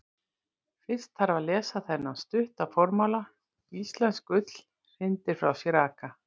Fyrst þarf að lesa þennan stutta formála: Íslensk ull hrindir frá sér raka.